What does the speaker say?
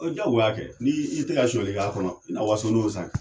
O ye ja goya ye kɛ n' i tɛ ka soɲɛli ka kɔnɔ ina waso n'o ye sa kɛ